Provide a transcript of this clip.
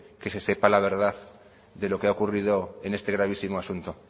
que se sepa la verdad de lo que ha ocurrido en este gravísimo asunto